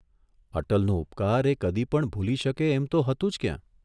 અટલનો ઉપકાર એ કદી પણ ભૂલી શકે એમ તો હતું જ ક્યાં?